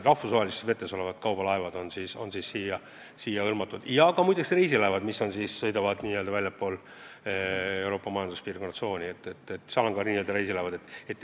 Rahvusvahelistes vetes tegutsevad kaubalaevad on eelnõuga hõlmatud ja muide ka reisilaevad, mis sõidavad väljaspool Euroopa Majanduspiirkonna tsooni.